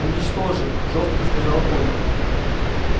уничтожим жёстко сказала ольга